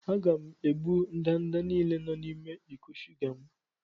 Aga m egbu ndanda niile nọ n'ime iko shuga m.